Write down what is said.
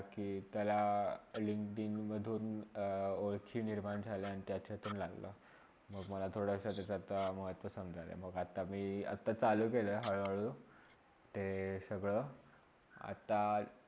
त्याला लिंकडीनवर मधुन ओळखी निर्माण झाला आहे आणि त्याच्यातुन लागला मंग मला थोडासा तसे काम वाटते समजायला. आता मी आता चालू केला आहे हळू -हळू. ते सगळे आता